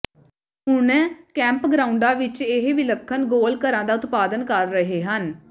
ਹੁਣ ਕੈਂਪਗ੍ਰਾਉਂਡਾਂ ਵਿਚ ਇਹ ਵਿਲੱਖਣ ਗੋਲ ਘਰਾਂ ਦਾ ਉਤਪਾਦਨ ਕਰ ਰਹੇ ਹਨ